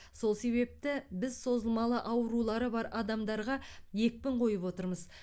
сол себепті біз созылмалы аурулары бар адамдарға екпін қойып отырмыз